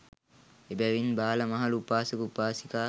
එබැවින් බාල, මහලු, උපාසක, උපාසිකා